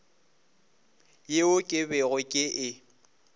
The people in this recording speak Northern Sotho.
yeo ke bego ke e